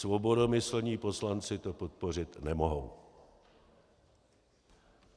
Svodobomyslní poslanci to podpořit nemohou.